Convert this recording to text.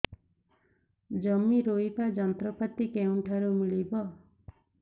ଜମି ରୋଇବା ଯନ୍ତ୍ରପାତି କେଉଁଠାରୁ ମିଳିବ